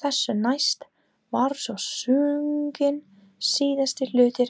Þessu næst var svo sunginn síðasti hluti